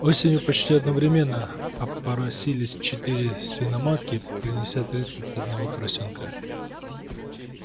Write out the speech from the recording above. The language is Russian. осенью почти одновременно опоросились четыре свиноматки принеся тридцать одного поросёнка